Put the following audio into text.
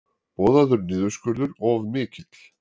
Boðaður niðurskurður of mikill